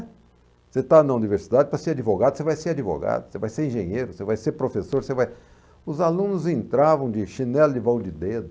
Você está na universidade para ser advogado, você vai ser advogado, você vai ser engenheiro, você vai ser professor, você vai... Os alunos entravam de chinelo e vau de dedo.